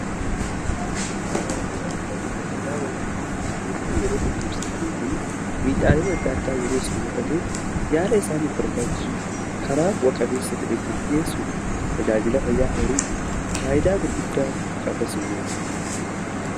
Horiin yeroo dhukkubsatan kanii fi miidhaalen adda addaa yeroo isaanrra ga'e yaala isaaniif barbaachisu karaa bu'a qabeessa ta'e kan dhageessu tajaajila fayyaa hooriitti faayidaa gurguddaa qaba in moora